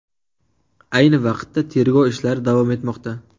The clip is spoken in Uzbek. Ayni vaqtda tergov ishlari davom etmoqda.